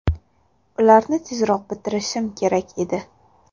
Ularni tezroq bitirish kerak edi.